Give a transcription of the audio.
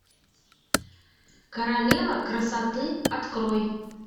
королева красоты открой